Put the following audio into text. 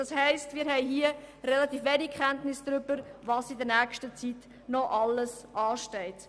Das heisst, wir haben relativ wenig Kenntnis darüber, was in der nächsten Zeit noch alles ansteht.